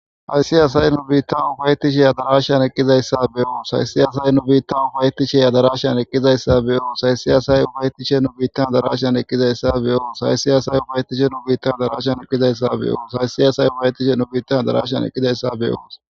aysiyaasaye nu biitta ubaytishe a darashan ekizayssa beyoos haysiyasay nu biitta ubaytisheya darashan eqqizayssa beoos saysiyasay ubaytishe nu biittan darashan eqkizayssa beyoos saysiyasay ubaytishe nu bitta darashan ekizayssa beoos saysiyasay ubayetishe nu biittan darashan eqkizayssabeyoos